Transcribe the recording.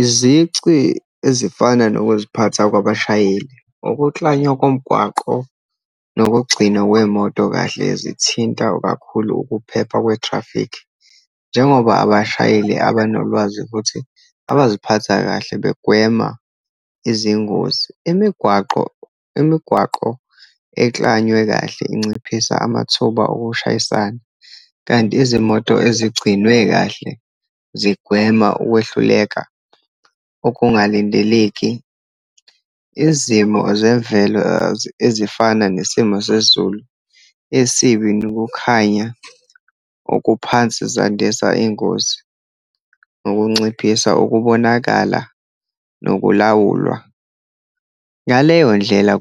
Izici ezifana nokuziphatha kwabashayeli, ukuklanywa komgwaqo, nokugcinwa kwey'moto kahle, zithinta kakhulu ukuphepha kwe-traffic. Njengoba abashayeli abanolwazi, futhi abaziphatha kahle begwema izingozi, imigwaqo, imigwaqo eklanywe kahle inciphisa amathuba okushayisana, kanti izimoto ezigcinwe kahle zigwema ukwehluleka okungalindeleki. Izimo zemvelo ezifana nesimo sezulu esibi, nokukhanya okuphansi zandisa iy'ngozi ngokunciphisa ukubonakala nokulawulwa. Ngaleyo ndlela